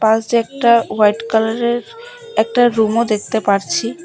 পাশে একটা হোয়াইট কালারের একটা রুমও দেখতে পারছি।